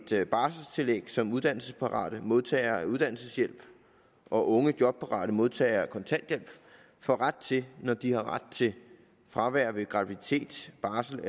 barselstillæg som uddannelsesparate modtagere af uddannelseshjælp og unge jobparate modtagere af kontanthjælp får ret til når de har ret til fravær ved graviditet barsel